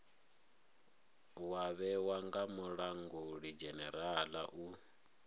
wa vhewa nga mulangulidzhenerala u